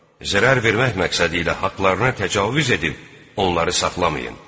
Zərər vermək məqsədi ilə haqlarına təcavüz edib, onları saxlamayın.